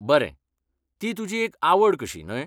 बरें, ती तुजी एक आवड कशी, न्हय?